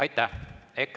Aitäh!